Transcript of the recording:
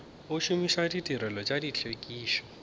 go šomiša ditirelo tša tlhwekišo